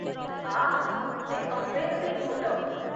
आह! ते अमेझिंग होतं.